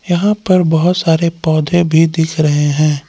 यहां पर बहोत सारे पौधे भी दिख रहे हैं।